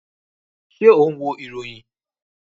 Ṣé o n wo ìròyìn?